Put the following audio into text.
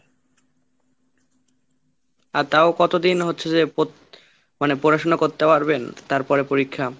আর তাও কতদিন হচ্ছে যে পড় মানে পড়াশোনা করতে পারবেন? তারপরে পরীক্ষা।